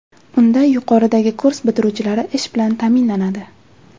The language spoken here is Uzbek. Unda yuqoridagi kurs bitiruvchilari ish bilan ta’minlanadi.